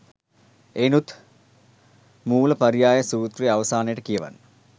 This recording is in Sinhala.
එයිනුත් මූලපරියාය සූත්‍රය අවසානයට කියවන්න.